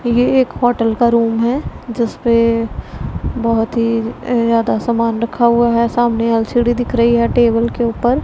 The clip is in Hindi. ये एक होटल का रूम है जिस पे बहुत ही ज्यादा समान रखा हुआ है सामने एल_सी_डी दिख रही है टेबल के ऊपर।